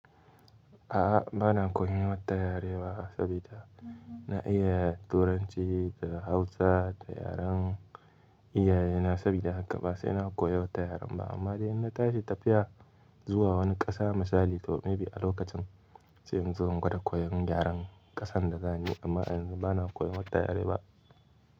A'a bana koyan wata yare ba saboda na iya turanci da hausa da yaren iyayena saboda haka ba sai na koyi wata yaren ba amma dai in na tashi tafiya zuwa wani ƙasa misali to maybe a lokacin sai in zo in gwada koyan yaren ƙasan da za ni amma yanzu bana koyan wata yare ba.